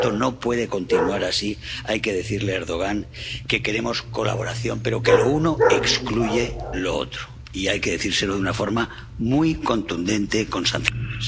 Esto no puede continuar así, hay que decirle a Erdogan que queremos colaboración, pero que lo uno excluye lo otro, y hay que decírselo de una forma muy contundente, con sanciones.